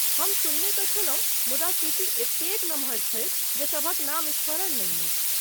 हम सुनने तँ छलहुँ मुदा सूची एतेक नमहर छैक जे सभक नाम स्मरण नहि अछि।